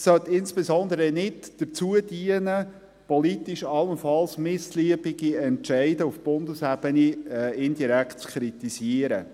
Es soll insbesondere nicht dazu dienen, politisch allenfalls missliebige Entscheide auf Bundesebene indirekt zu kritisieren.